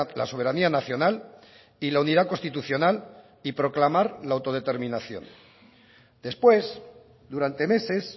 la soberanía nacional y la unidad constitucional y proclamar la autodeterminación después durante meses